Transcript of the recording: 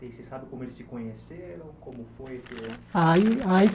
Você sabe como eles se conheceram? Como foi que Aí aí